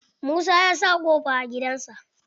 Musa ya sa ƙofa a gidan sa.